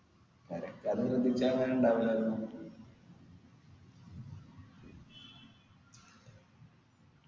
പെരക്കാര്